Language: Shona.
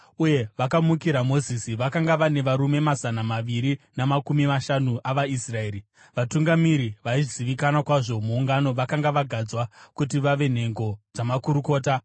uye vakamukira Mozisi. Vakanga vane varume mazana maviri namakumi mashanu avaIsraeri, vatungamiri vaizivikanwa kwazvo muungano vakanga vagadzwa kuti vave nhengo dzamakurukota.